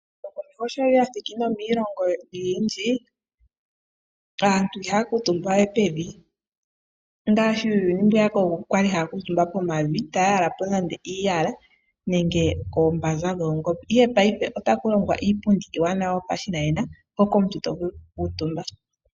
Ehumokomeho sho lya thiki nomiilongo oyindji, aantu ihaya kuutumba we pevi ngaashi uuyuni mbwiyaka ookuku ya li haya kuutumba pevi taya yala po iiyala nenge koombanza dhoongombe. Ihe paife otaku longwa iipundi iiwanawa yopashinanena hoka omuntu to vulu okukuutumba.